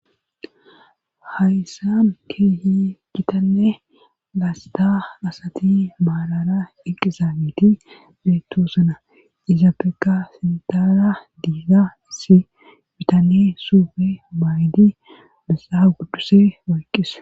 hayssan keehi gitanne gaasta asati maalara eqizaabiti beettosana izaapeka fintaara diiga issi bitane suube maaydi missa gudduse oyqqisse